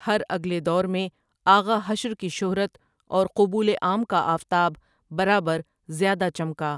ہر اگلے دور میں آغا حشر کی شہرت اور قبولِ عام کا آفتاب برابر زیادہ چمکا ۔